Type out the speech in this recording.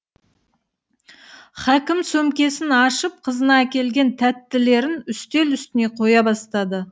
хакім сөмкесін ашып қызына әкелген тәттілерін үстел үстіне қоя бастайды